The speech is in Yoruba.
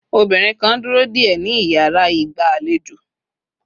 obinrin kan duro de éé ni iyara igba alejo